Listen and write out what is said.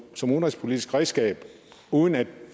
som udenrigspolitisk redskab uden at